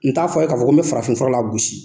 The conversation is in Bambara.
N t'a fɔ a' ye k'a fɔ ko me farafin fura lagosi.